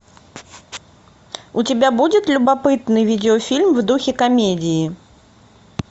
у тебя будет любопытный видеофильм в духе комедии